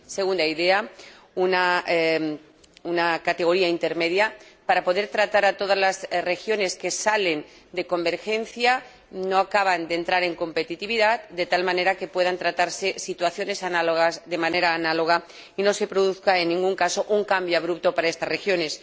Segunda idea, una categoría intermedia para poder tratar a todas las regiones que no cumplen la convergencia y no acaban de acceder a la competitividad, de tal manera que puedan tratarse situaciones análogas de manera análoga y no se produzca, en ningún caso, un cambio abrupto para estas regiones.